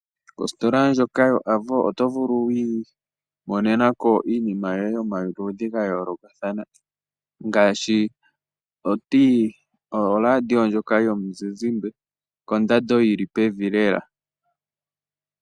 Ositola ndjoka yoAvo otovulu wii monena ko iinima yomaludhi gayoolokathana, ngaashi oladiyo ndjoka yomuzizimbe kondando yilipevi lela.